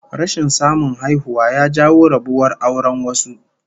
Rashin samun haihuwa ya jawo rabuwar auren wasu